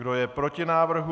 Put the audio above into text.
Kdo je proti návrhu?